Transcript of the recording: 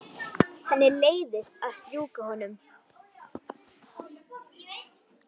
Henni leiðist að strjúka honum.